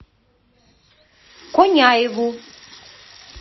коняеву